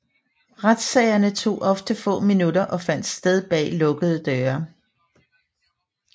Retssagerne tog ofte få minutter og fandt sted bag lukkede døre